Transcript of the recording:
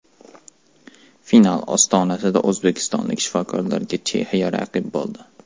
Final ostonasida o‘zbekistonlik shifokorlarga Chexiya raqib bo‘ldi.